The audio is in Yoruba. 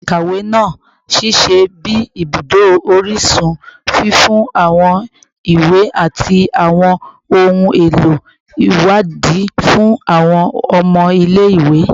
Ile-ikawe naa n ṣiṣẹ bi ibudo orisun, fifun awọn iwe ati awọn ohun elo iwadii fun awọn ọmọ ile-iwe